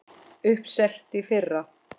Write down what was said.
Uppselt í fyrra!